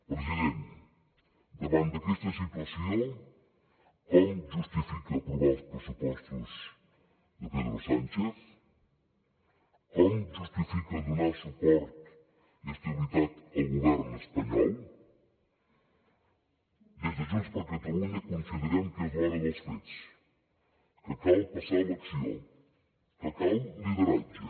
president davant d’aquesta situació com justifica aprovar els pressupostos de pedro sánchez com justifica donar suport i estabilitat al govern espanyol des de junts per catalunya considerem que és l’hora dels fets que cal passar a l’acció que cal lideratge